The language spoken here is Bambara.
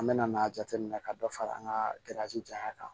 An mɛna n'a jateminɛ ka dɔ fara an ka jaɲa kan